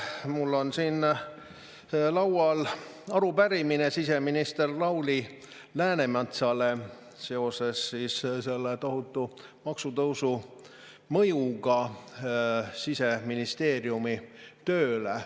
Mul on siin laual arupärimine siseminister Lauri Läänemetsale seoses selle tohutu maksutõusu mõjuga Siseministeeriumi tööle.